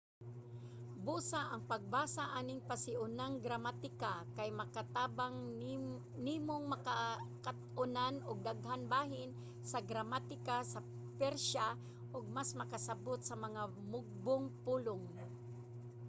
busa ang pagbasa aning pasiunang gramatika kay makatabang nimong makat-onan og daghan bahin sa gramatika sa persia ug mas makasabot sa mga mugbong pulong